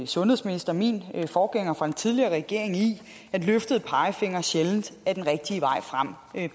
sundhedsminister min forgænger fra den tidligere regering i at løftede pegefingre sjældent er den rigtige vej frem